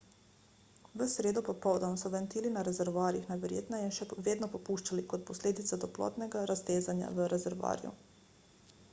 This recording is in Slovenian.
v sredo popoldan so ventili na rezervoarjih najverjetneje še vedno puščali kot posledica toplotnega raztezanja v rezervoarju